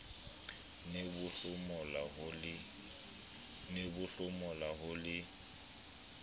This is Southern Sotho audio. ne bo hlomola ho le